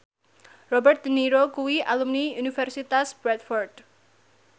Robert de Niro kuwi alumni Universitas Bradford